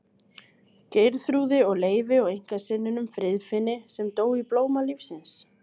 Geirþrúði og Leifi og einkasyninum Friðfinni sem dó í blóma lífsins.